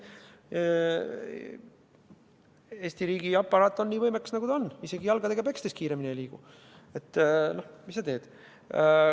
Aga Eesti riigiaparaat on just nii võimekas, nagu ta on – isegi jalgadega pekstes kiiremini ei liigu, mis sa teed.